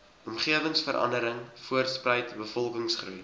omgewingsverandering voortspruit bevolkingsgroei